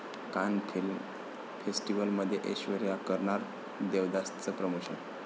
कान फिल्म फेस्टिवलमध्ये ऐश्वर्या करणार 'देवदास'चं प्रमोशन